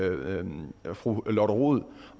fru lotte rod